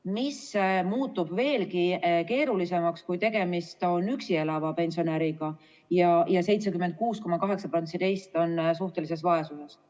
Pilt muutub veelgi keerulisemaks, kui tegemist on üksi elava pensionäriga, sest 76,8% neist on suhtelises vaesuses.